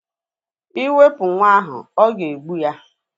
Iwepu nwa ahu, o ga-egbu ya